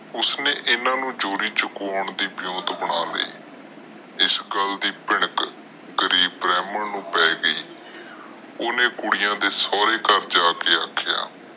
ਸ ਨੇ ਇਨਾਂ ਨੂੰ ਚੋਰੀ ਚੁੱਕਣ ਦੇ ਬਣਾ ਲਾਇ ਇਸ ਗੱਲ ਦੀ ਭਿਣਕ ਗਰੀਬ ਬ੍ਰਾਮਣ ਨੂੰ ਪੈ ਗਯੀ ਓਹਨੇ ਕੁੜੀਆਂ ਦੇ ਸੋਹਰੇ ਘਰ ਜਾ ਕੇ ਆਖਿਆ